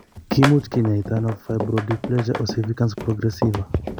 Ki much ke nyoitono fibrodysplasia ossificans progressiva?